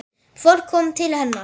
Fólk kom til hennar.